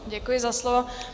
Děkuji za slovo.